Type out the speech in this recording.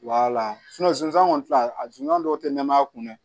zonzan kɔni filɛ a zon dɔw te nɛmaya kun dɛ